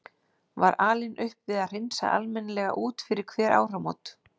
Var alin upp við að hreinsa almennilega út fyrir hver áramót.